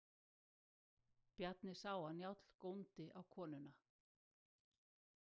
Bjarni sá að Njáll góndi á konuna.